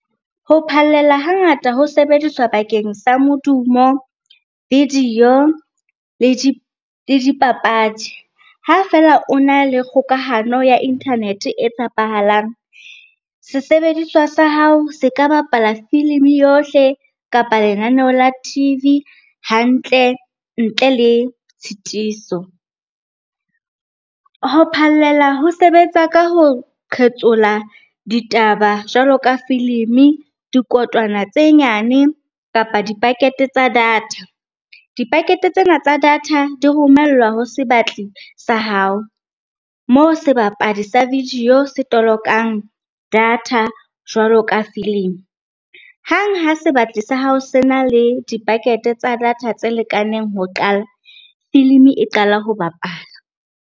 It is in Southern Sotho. Ho phallela hangata ho sebediswa bakeng sa modumo, video le dipapadi. Ha feela o na le kgokahano ya internet-e e tshepahalang, se sebediswa sa hao se ka bapala filimi yohle kapa lenaneo la T_V hantle ntle le tshitiso. Ho phallela ho sebetsa ka ho qhetsola ditaba jwalo ka filimi, dikotwana tse nyane kapa di-packet-e tsa data. Di-packet-e tsena tsa data di romellwa ho sebatli sa hao, moo sebapadi sa video se tolokang data jwalo ka filimi. Hang ha sebatli sa hao se na le di-packet-e tsa data tse lekaneng ho qala, filimi e qala ho bapala.